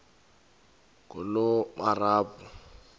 ngulomarabu